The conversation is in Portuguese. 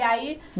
E aí?